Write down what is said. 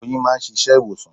Oyin máà ń ṣiṣẹ́ ìwòsàn.